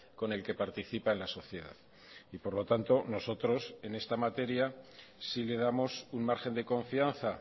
con el que participa en la sociedad y por lo tanto nosotros en esta materia sí le damos un margen de confianza